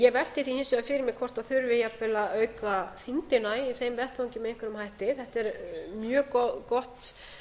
ég velti því hins vegar fyrir mér hvort þurfi jafnvel að auka þyngdina í þeim vettvangi með einhverjum hætti þetta er mjög gott